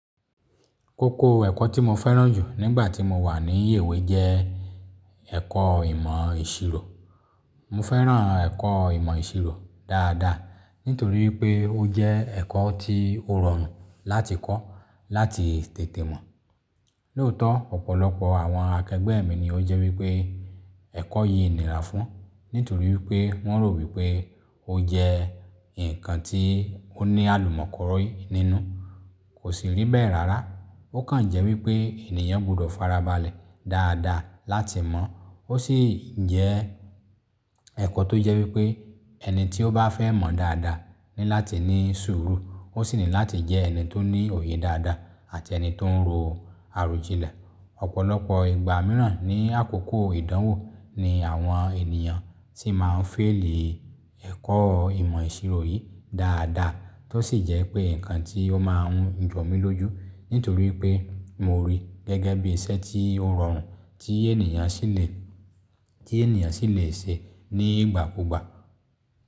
Kókó ẹ̀kọ́ tí mo fẹ́ràn jù nígbà tí mo wà ní ìwé jẹ́ ẹ̀kọ́ ìmọ̀ ìṣirò. Mo fẹ́ràn ẹ̀kọ́ ìmọ̀ ìṣirò dáadáa nítorí pé ó jẹ́ ẹ̀kọ́ tí ó rọrùn láti kọ́, láti tètè mọ̀. Lóòótọ́ ọ̀pọ̀lọpọ̀ àwọn akẹgbẹ́ mi ni ó jẹ́ wípé ẹ̀kọ́ yìí nira fún, nítorí wípé wọ́n rò wípé ó jẹ́ ǹnkan tí ó ní àlùmọ́koroyi nínú. Kò sì rí bẹ́ẹ̀ rárá. Ó kàn jẹ́ wípé ènìyàn gbọdọ̀ farabalẹ̀ dáadáa láti mọ̀. Ó sì jẹ́ ẹ̀kọ́ tó jẹ́ wípé ẹni tí ó bá fẹ́ mọ̀ dáadáa ní láti ní sùúrù. Ó sì ní láti jẹ́ ẹni tó ní òye dáadáa àti ẹni tó ń ro àròjinlẹ̀. Ọ̀pọ̀lọpọ̀ ìgbà mìíràn ní àkókò ìdánwò ni àwọn ènìyàn tí máa ń fail i ẹ̀kọ́ ìmọ̀ ìṣirò yìí dáadáa. Tó sì jẹ́ pé nǹkan tí ó máa ń jọ mí lójú ntorí pé mo rí gẹ́gẹ́ bí iṣẹ́ tí ó rọrùn tí ènìyàn sì lè, tí ènìyàn sì lè ṣe ní ìgbà kúgbà.